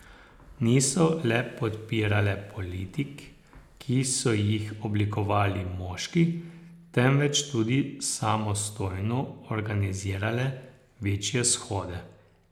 Niso le podpirale politik, ki so jih oblikovali moški, temveč tudi samostojno organizirale večje shode.